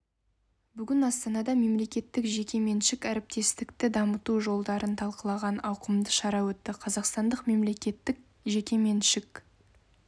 бүгін астанада мемлекеттік жеке меншік әріптестікті дамыту жолдарын талқылаған ауқымды шара өтті қазақстандық мемлекеттік жеке меншік